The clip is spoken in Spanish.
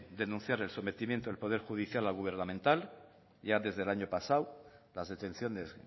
denunciar el sometimiento del poder judicial al gubernamental ya desde el año pasado las detenciones